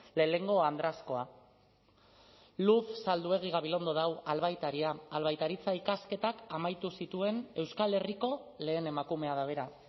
lehenengo andrazkoa luz zalduegi gabilondo da hau albaitaria albaitaritza ikasketak amaitu zituen euskal herriko lehen emakumea da bera